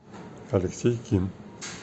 алексей ким